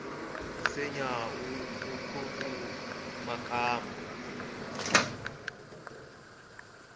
nsinya wu hluku makamba